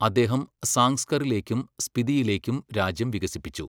അദ്ദേഹം സാങ്സ്കറിലേക്കും സ്പിതിയിലേക്കും രാജ്യം വികസിപ്പിച്ചു.